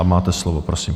A máte slovo, prosím.